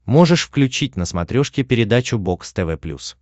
можешь включить на смотрешке передачу бокс тв плюс